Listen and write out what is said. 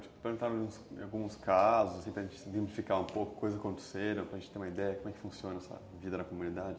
Perguntaram em em alguns casos, para a gente identificar um pouco o que aconteceu, para a gente ter uma ideia de como é que funciona a vida na comunidade.